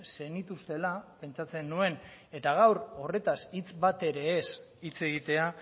zenituztela pentsatzen nuen eta gaur horretaz hitz batere ez hitz egitea